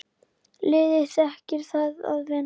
Liðið þekkir það að vinna.